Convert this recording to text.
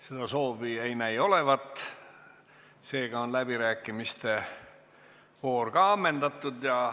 Seda soovi ei näi olevat, seega on läbirääkimiste voor ammendatud.